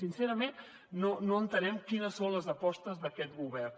sincerament no entenem quines són les apostes d’aquest govern